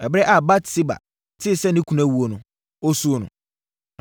Ɛberɛ a Batseba tee sɛ ne kunu awuo no, ɔsuu no.